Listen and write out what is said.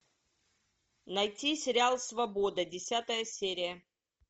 найти сериал свобода десятая серия